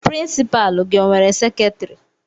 Pirincipalu gi o nwere seketiri?